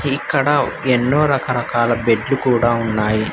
ఇక్కడ ఎన్నో రకారకాల బెడ్లు కూడా ఉన్నాయి.